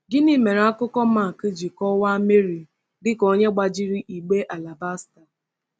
Gịnị mere akụkọ Mark ji kọwaa Mary dị ka “gbajiri igbe alabaster”?